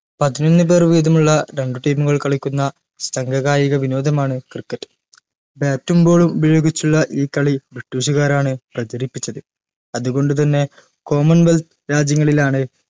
പതിനൊന്നുപേർ വീതമുള്ള രണ്ട് team ഉകൾ കളിക്കുന്ന സംഗ കായിക വിനോദമാണ് cricket bat ഉം ball ഉം ഉപയോഗിച്ചുള്ള ഈ കാളി ബ്രിട്ടീഷ് കാരാണ് പ്രചരിപ്പിച്ചത് അതുകൊണ്ടുതന്നെ commonwealth രാജ്യങ്ങളിലാണ്